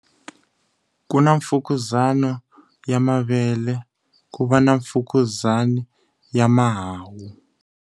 Ku na mfukuzana ya mavele ku va na mfukuzana ya mahawu.